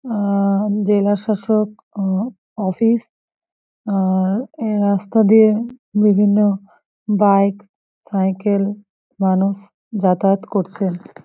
আ জেলাশাসক অ অফিস । আ-আ-র এই রাস্তা দিয়ে বিভিন্ন বাইক সাইকেল মানুষ যাতায়াত করছে।